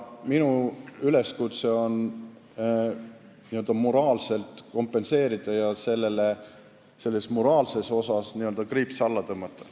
Minu üleskutse on kannatanutele toimunu moraalselt kompenseerida ja sellele niimoodi kriips alla tõmmata.